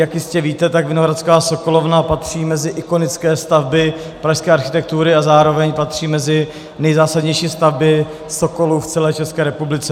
Jak jistě víte, tak Vinohradská sokolovna patří mezi ikonické stavby pražské architektury a zároveň patří mezi nejzásadnější stavby Sokolu v celé České republice.